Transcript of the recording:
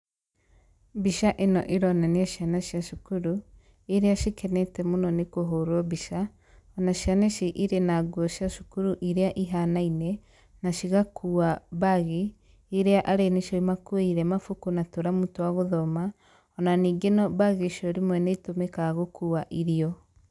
Mbica ĩno ĩronania ciana cia cukuru, iria cikenete mũno nĩ kũhurwo mbica, na ciana ici irĩ na nguo cia cukuru iria ihanaine na cigakuua mbaagi iria arĩ nĩcio imakuĩire mabuku na tũramu twa gũthoma,o na ningĩ no mbaagi icio rĩmwe nĩ itũmĩkaga gũkuua irio.